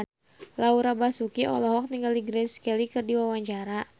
Laura Basuki olohok ningali Grace Kelly keur diwawancara